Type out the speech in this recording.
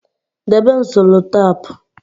debe m sellotape